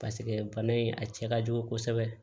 Paseke bana in a cɛ ka jugu kosɛbɛ